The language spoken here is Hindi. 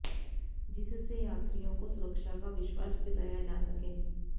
जिससे यात्रियों को सुरक्षा का विश्वास दिलाया जा सके